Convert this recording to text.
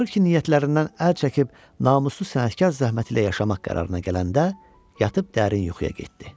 Axır ki, niyyətlərindən əl çəkib namuslu sənətkar zəhməti ilə yaşamaq qərarına gələndə yatıb dərin yuxuya getdi.